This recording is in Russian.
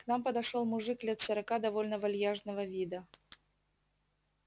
к нам подошёл мужик лет сорока довольно вальяжного вида